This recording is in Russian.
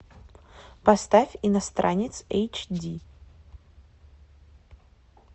поставь иностранец эйч ди